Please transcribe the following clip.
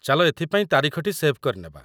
ଚାଲ ଏଥିପାଇଁ ତାରିଖଟି ସେଭ୍ କରିନେବା।